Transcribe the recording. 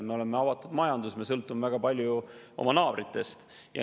Me oleme avatud majandus, me sõltume väga palju oma naabritest.